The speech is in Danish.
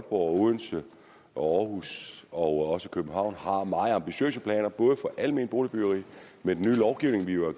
og odense og århus og også københavn har meget ambitiøse planer både for alment boligbyggeri med den nye lovgivning vi jo har